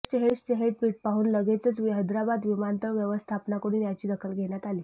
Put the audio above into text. रितेशचे हे ट्विट पाहून लगेचच हैदराबाद विमानतळ व्यवस्थापनाकडून याची दखल घेण्यात आली